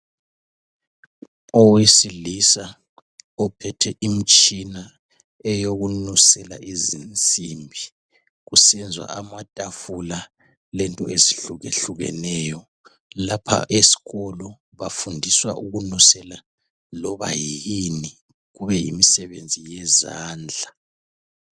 Owesilisa ophethe imitshina eyokunusela izinsimbi kusenziwa amatafula lento ezihlukehlukeneyo lapha esikolo bafundiswa ukunusela loba yini kube yimisebenzi yezandla.